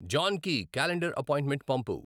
జాన్కి calendar appointment pump